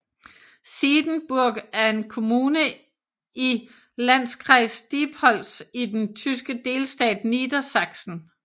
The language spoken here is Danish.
Siedenburg er en kommune i i Landkreis Diepholz i den tyske delstat Niedersachsen